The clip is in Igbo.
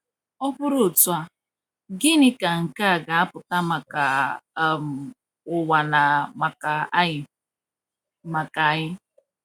Ọ bụrụ otu a, gịnị ka nke a ga-apụta maka um ụwa na maka anyị? maka anyị?